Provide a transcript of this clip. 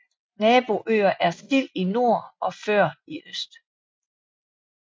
Naboøer er Sild i nord og Før i øst